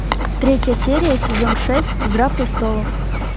третья серия сезон шесть игра престолов